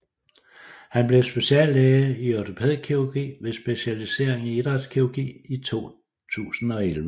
Han blev speciallæge i ortopædkirurgi med specialisering i idrætskirurgi i 2011